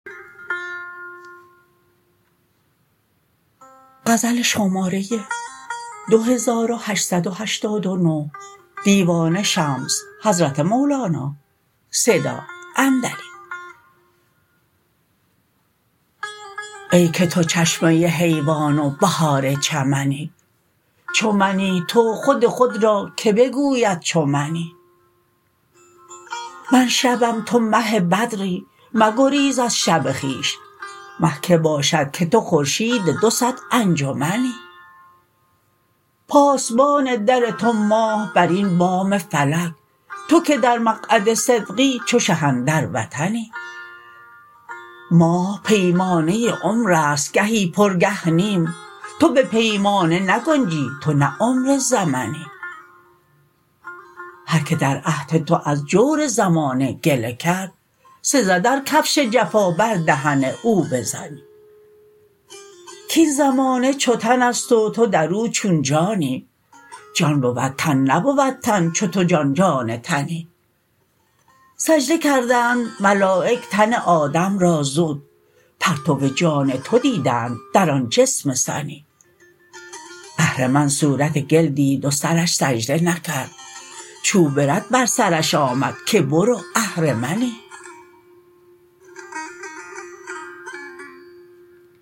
ای که تو چشمه حیوان و بهار چمنی چو منی تو خود خود را کی بگوید چو منی من شبم تو مه بدری مگریز از شب خویش مه کی باشد که تو خورشید دو صد انجمی پاسبان در تو ماه برین بام فلک تو که در مقعد صدقی چو شه اندر وطنی ماه پیمانه عمر است گهی پر گه نیم تو به پیمانه نگنجی تو نه عمر زمنی هر کی در عهد تو از جور زمانه گله کرد سزد ار کفش جفا بر دهن او بزنی کاین زمانه چو تن است و تو در او چون جانی جان بود تن نبود تن چو تو جان جان تنی سجده کردند ملایک تن آدم را زود پرتو جان تو دیدند در آن جسم سنی اهرمن صورت گل دید و سرش سجده نکرد چوب رد بر سرش آمد که برو اهرمنی